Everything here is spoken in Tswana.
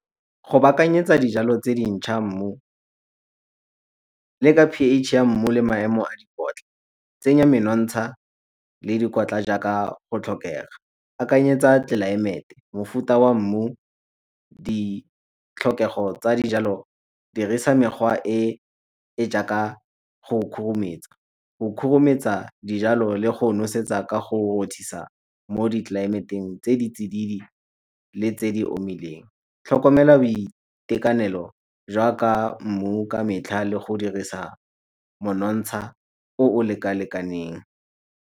Go baakanyetsa dijalo tse dintšha mmu P_H ya mmu le maemo a dikotla, tsenya menontsha le dikotla jaaka go tlhokega. Akanyetsa tlelaemete, mofuta wa mmu, ditlhokego tsa dijalo, dirisa mekgwa e e jaaka go khurumetsa. Go khurumetsa dijalo le go nosetsa ka go rothisa mo ditlelaemeteng tse di tsididi le tse di omileng. Tlhokomela boitekanelo jaaka mmu ka metlha le go dirisa monontsha o o leka-lekaneng.